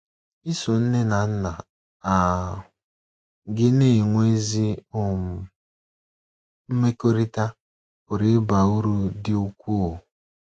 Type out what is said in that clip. Iso nne na nna um gị na - enwe ezi um mmekọrịta pụrụ ịba uru dị ukwuu.